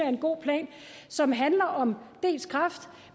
er en god plan og som handler om kræft